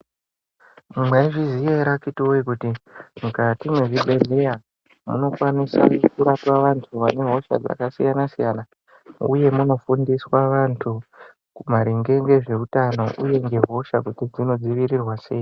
Maizviziya ere akhtiti voye kuti mukati mezvibhedhleya munokwanisa kurape antu ane hosha dzakasiyana-siyana, uye munofundiswa antu maringe ngezveutano, uye ngehosha kuti dzinodzivirirwa sei.